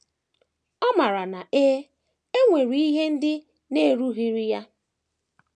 Ọ maara na e e nwere ihe ndị na - erughịrị ya.